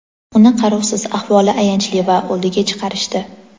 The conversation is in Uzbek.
"Uni qarovsiz, ahvoli ayanchli va o‘ldiga chiqarishdi".